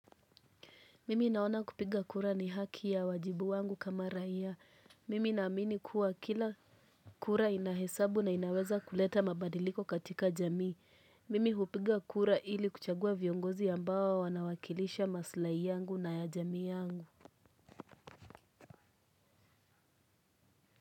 Mimi naona kupiga kura ni haki ya wajibu wangu kama raia. Mimi naamini kuwa kila kura inahesabu na inaweza kuleta mabadiliko katika jami. Mimi hupiga kura ili kuchagua viongozi ambao wanawakilisha maslai yangu na ya jami yangu.